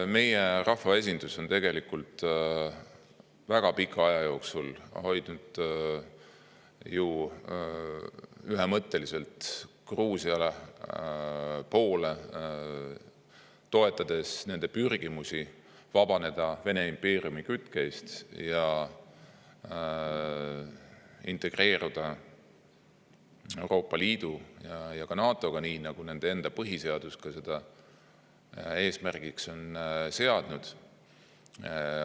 Meie rahvaesindus on tegelikult väga pika aja jooksul hoidnud ühemõtteliselt Gruusia poole, toetades nende pürgimusi vabaneda Vene impeeriumi kütkest ja integreeruda Euroopa Liidu ja ka NATO-ga, nii nagu nende enda põhiseadus eesmärgiks on seadnud.